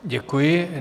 Děkuji.